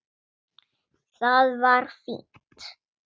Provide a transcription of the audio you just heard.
Það var fínt.